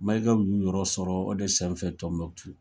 Mayika ninnu y'u yɔrɔ sɔrɔ o de sen fɛ Tɔnbukutu.